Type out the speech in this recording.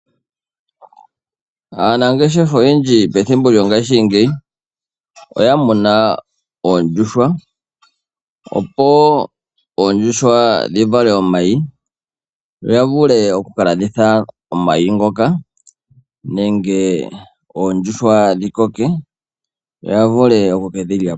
Aanangeshefa oyendji pethimbo lyo ngaashingeyi oya muna oondjuhwa, opo oondjuhwa dhi vale mayi, yo ya vule oku kalanditha omayi ngoka, nenge oondjuhwa dhi koke yo ya vule oku kedhi lyapo.